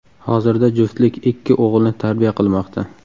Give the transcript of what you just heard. Hozirda juftlik ikki o‘g‘ilni tarbiya qilmoqda.